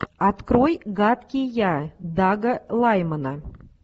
открой гадкий я дага лаймана